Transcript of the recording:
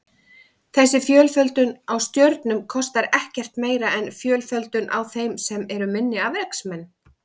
Þessi fjölföldun á stjörnum kostar ekkert meira en fjölföldun á þeim sem eru minni afreksmenn.